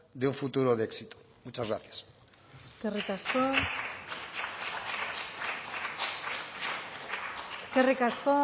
de un futuro de éxito muchas gracias eskerrik asko eskerrik asko